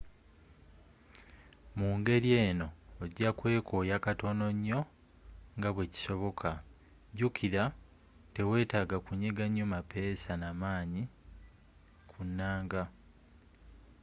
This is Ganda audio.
mu ngeri eno ojja kweekooya katono nnyo nga bwe kisoboka jjukira teweetaaga kunyiga nnyo mapeesa na maanyi nga ku nnanga